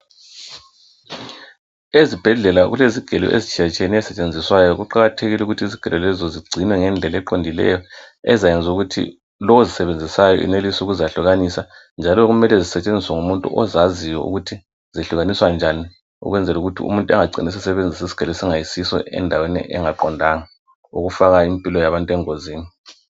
Ezibhedlela kulezigelo ezitshiyatshiyeneyo ezisetshenziswayo. Kuqakathekile ukuthi izigelo lezi zigcinwe ngendlela eqondileyo ezayenza ukuthi lo ozisebenzisayo enelise ukuzahlukanisa njalo kumele zisetshenziswe ngumuntu ozaziyo ukuthi zehlukaniswa njani ukwenzela ukuthi umuntu engacini esebenzisa isigelo esingayisiso endaweni engaqondanga okufaka impilo yabantu engozini.